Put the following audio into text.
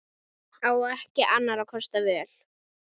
Á ekki annarra kosta völ.